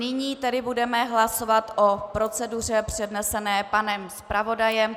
Nyní tedy budeme hlasovat o proceduře přednesené panem zpravodajem.